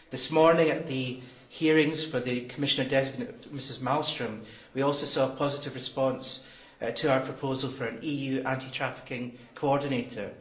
This morning, at the hearing of Commissioner designate Mrs Malmström, we also saw a positive response to our proposal for an EU anti trafficking coordinator.